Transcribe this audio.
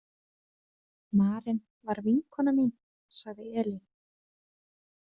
Maren var vinkona mín, sagði Elín.